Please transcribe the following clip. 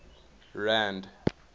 rand